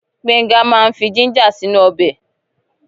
Gbenga máa fi jíńjà sínú ọbẹ̀.